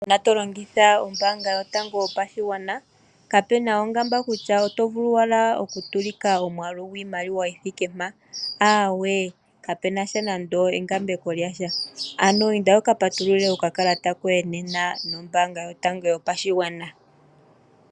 Uuna to longitha ombaanga Yotango Yopashigwana kapena ongamba kutya oto vulu owala okutsilika omwaalu gwiimaliwa yithike mpa, aawe kapena sha nande engambeko lyasha. Ano inda wuka patulule okakalata koye nena nombaanga Yotango Yopashigwana.